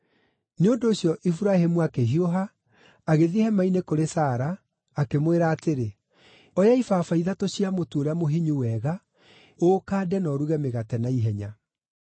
Nĩ ũndũ ũcio Iburahĩmu akĩhiũha agĩthiĩ hema-inĩ kũrĩ Sara, akĩmwĩra atĩrĩ, “Oya ibaba ithatũ cia mũtu ũrĩa mũhinyu wega, ũũkande na ũruge mĩgate naihenya.”